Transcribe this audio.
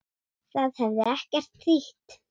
Það hefði ekkert þýtt.